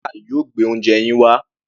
Waiter yóò gbé oúnje yín wá.